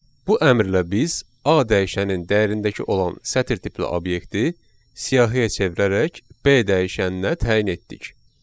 Bu əmrlə biz A dəyişənin dəyərindəki olan sətir tipli obyekti siyahıya çevirərək B dəyişəninə təyin etdik.